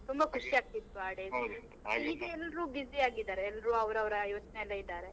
ತುಂಬಾ ಆಗ್ತಿತ್ತು ಆ ಎಲ್ರು busy ಆಗಿದಾರೆ ಎಲ್ರು ಅವರವರ ಯೋಚ್ನೆ ಅಲ್ಲೇ ಇದಾರೆ.